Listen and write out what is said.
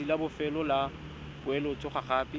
letsatsi la bofelo la poeletsogape